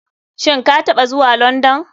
Shin kataɓa zuwa london?